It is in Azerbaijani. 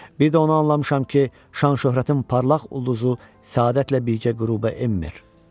Bir də onu anlamışam ki, şan-şöhrətin parlaq ulduzu səadətlə birgə qürubə enmir.